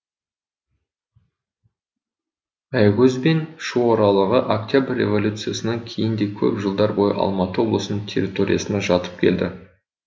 аякөз бен шу аралығы октябрь революциясынан кейін де көп жылдар бойы алматы облысының территориясына жатып келді